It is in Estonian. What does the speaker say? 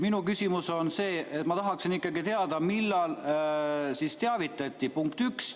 Minu küsimus on see, et ma tahaksin ikkagi teada, millal teavitati – punkt üks.